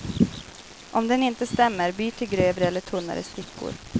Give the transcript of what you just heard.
Om den inte stämmer, byt till grövre eller tunnare stickor.